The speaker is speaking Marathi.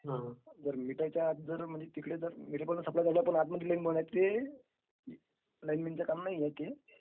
is not clear